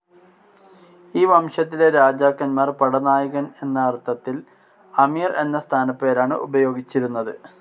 ഈ വംശത്തിലെ രാജാക്കന്മാർ, പടനായകൻ എന്ന അർത്ഥത്തിൽ, അമീർ എന്ന സ്ഥാനപ്പേരാണ് ഉപയോഗിച്ചിരുന്നത്.